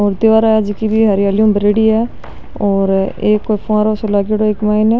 और दिवारा है जकी भी हरियाली ऊ भरेड़ी है और एक कोई फ़ुवारो सो लागेडो इक माइन।